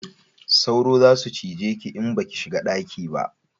Sauro za su cije ki in ba ki shiga daki ba